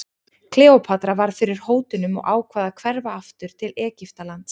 Kleópatra varð fyrir hótunum og ákvað að hverfa aftur til Egyptalands.